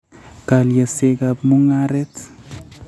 Kalyasyegap mung'aaret